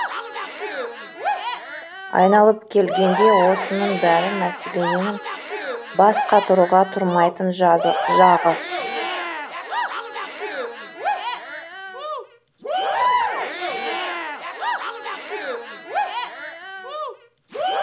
айналып келгенде осының бәрі мәселенің бас қатыруға тұрмайтын жағы